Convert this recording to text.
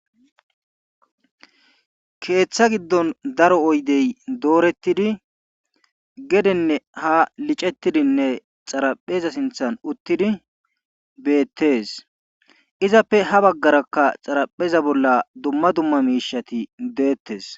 Keetha giddon daro oydey doorettidi gedenne ha licettidi xarapheza sinthan uttidi beetees izappe ha baggarakka xarapheza bolla dumma dumma miisheti deettees.